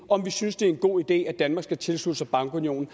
om vi synes det er en god idé at danmark skal tilslutte sig bankunionen